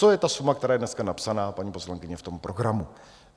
To je ta suma, která je dneska napsaná, paní poslankyně, v tom programu.